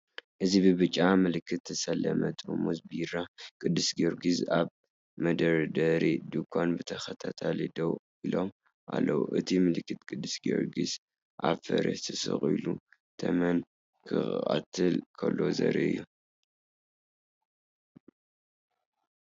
እዚ ብብጫ ምልክት ዝተሰለሙ ጥርሙዝ ቢራ ቅዱስ ጊዮርጊስ ኣብ መደርደሪ ድኳን ብተኸታታሊ ደው ኢሎም ኣለዉ። እቲ ምልክት ቅዱስ ጊዮርጊስ ኣብ ፈረስ ተሰቒሉ ተመን ክቐትል ከሎ ዘርኢ እዩ።